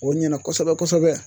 O ɲɛna kosɛbɛ kosɛbɛ